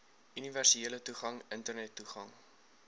universele toegang internettoegang